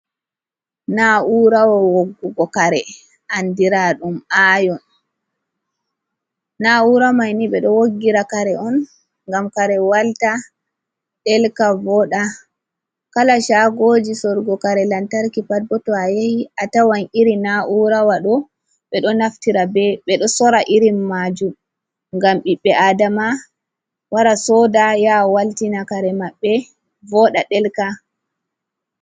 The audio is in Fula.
Naa'urawa woggugo kare anndira ɗum aayon. Naa'ura may ni ,ɓe ɗo woggira kare on, ngam kare walta ,ɗelka ,vooɗa, kala caagoji sorugo kare lantarki pat bo, to a yahi a tawan iri naa'urawa ɗo. Ɓe ɗo naftira ,ɓe ɗo sorra irin maajum, ngam ɓiɓɓe aadama wara sooda, yaha waltina kare maɓɓe, vooɗa ,ɗelka.